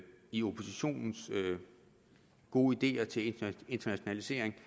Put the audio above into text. de gode ideer til internationalisering